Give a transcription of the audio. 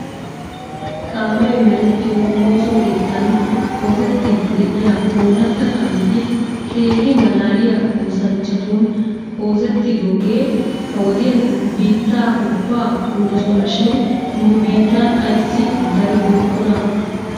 Kaame merettiyo ooso keettan oossettidi de'iya ooratta kaameti keehi malaaliya oossanchchatun oosetidoge ha wodiyan biitta ubban kumidosona shin nu bittan ayssi daribookonaa?